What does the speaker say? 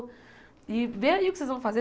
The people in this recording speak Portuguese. E vê aí o que vocês vão fazer.